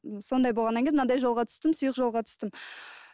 сондай болғаннан кейін манандай жолға түстім сұйық жолға түстім